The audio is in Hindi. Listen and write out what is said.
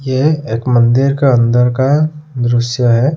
यह एक मन्दिर का अंदर का दृश्य है।